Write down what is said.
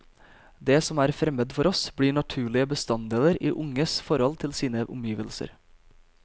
Det som er fremmed for oss, blir naturlige bestanddeler i unges forhold til sine omgivelser.